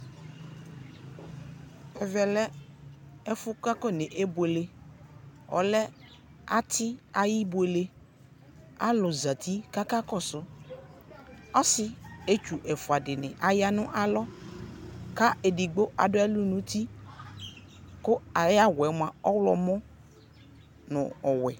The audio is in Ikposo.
ɛmɛ lɛ ibuele ayʊ ɛfʊ, ɔlɛ ăti ayʊ ibuele, alʊ zati kʊ akakɔssʊ, asietsu ɛfua dɩnɩ ya nʊ alɔ, kʊ edigbo adʊ ɛlʊ nʊ uti, adʊ awu ɔwlɔmɔ nʊ ɔwɛ